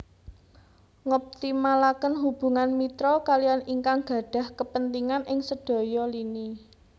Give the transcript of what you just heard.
Ngoptimalaken hubungan mitra kaliyan ingkang gadhah kapentingan ing sedaya lini